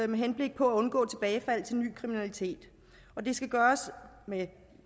med henblik på at undgå tilbagefald til ny kriminalitet og det skal gøres